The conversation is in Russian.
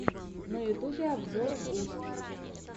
на ютюбе обзор густв